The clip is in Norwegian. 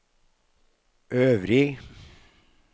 øvrig